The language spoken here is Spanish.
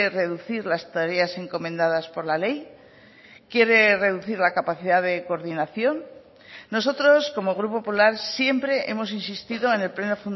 reducir las tareas encomendadas por la ley quiere reducir la capacidad de coordinación nosotros como grupo popular siempre hemos insistido en el pleno